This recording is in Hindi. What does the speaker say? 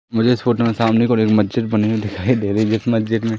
मुझे इस फोटो मे समाने खडे हुए मस्जिद बनी हुई दिखाई दे रही इस मस्जिद मे--